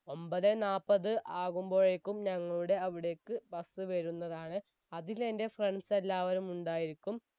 ഒമ്പതേ നാപ്പത് ആകുമ്പോഴേക്കും ഞങ്ങളുടെ അവിടേക്ക് bus വരുന്നതാണ് അതിലെന്റെ friends എല്ലാവരും ഉണ്ടായിരിക്കും